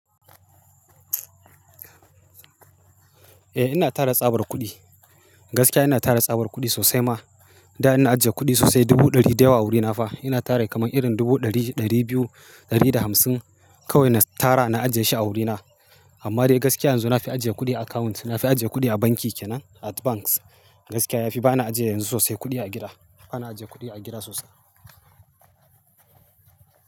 Eh ina tara tsabar kuɗi. Gaskiya ina tara tsabar kuɗi sosai ma. Da ina ajiye kuɗi sosai dubu ɗari da yawa a wurina fa. Ina tara kaman irin dubu ɗari, ɗari biyu, ɗari da hamsin. Kowai na tara na ajiye shi a wurina. Amma dai gaskiya yanzu na fi ajiye kuɗi account. Na fi ajiye kuɗi a banki kenan, at banks. Gaskiya yafi. Ba na ajiye yanzu sosai kuɗi a gida. Ba na ajiye kuɗi a gida sosai.